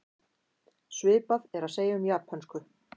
Svipað er að segja um japönsku.